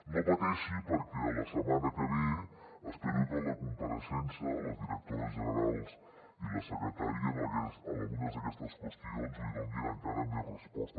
no pateixi perquè la setmana que ve espero que en la compareixença la directora general i la secretària en algunes d’aquestes qüestions li donin encara més resposta